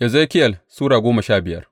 Ezekiyel Sura goma sha biyar